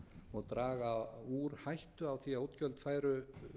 og draga úr hættu á því að útgjöld færu